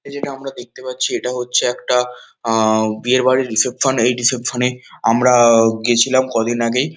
এই যেটা আমরা দেখতে পাচ্ছি এটা হচ্ছে একটা বিয়ে বাড়ির রিসেপশন এই রিসেপশন এ আমরা গেছিলাম কদিন আগেই।